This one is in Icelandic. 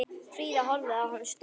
Fríða horfði á hann ströng.